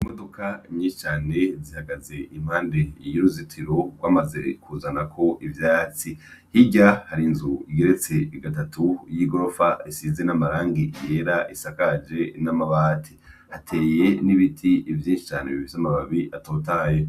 Imuduka nyicane zihagaze impande iyi uruzitiro ko amaze kuzanako ivyatsi hirya hari nzu igeretse igatatu y'i gorofa isize n'amarangi era isakaje n'amabati ateye n'ibiti ivyinsicane bivyo amababi atotaye.